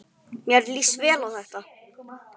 Mér líst vel á þetta.